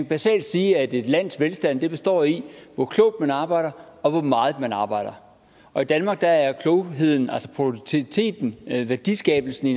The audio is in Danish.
basalt sige at et lands velstand består i hvor klogt man arbejder og hvor meget man arbejder og i danmark er klogheden altså produktiviteten værdiskabelsen